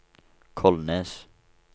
Kolnes